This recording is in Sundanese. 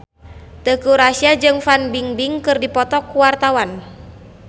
Teuku Rassya jeung Fan Bingbing keur dipoto ku wartawan